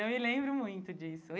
Eu me lembro muito disso.